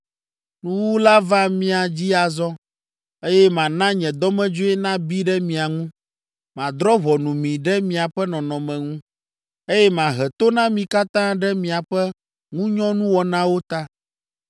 Nuwuwu la va mia dzi azɔ, eye mana nye dɔmedzoe nabi ɖe mia ŋu. Madrɔ̃ ʋɔnu mi ɖe miaƒe nɔnɔme ŋu, eye mahe to na mi katã ɖe miaƒe ŋunyɔnuwɔnawo ta.